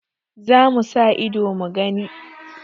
Za mu sa ido mu gani.